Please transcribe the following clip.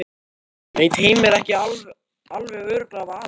Veit Heimir ekki alveg örugglega af Adam?